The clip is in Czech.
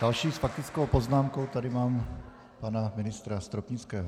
Dalšího s faktickou poznámkou tady mám pana ministra Stropnického.